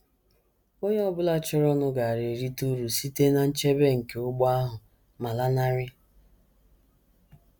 Onye ọ bụla chọrọnụ gaara erite uru site ná nchebe nke ụgbọ ahụ ma lanarị.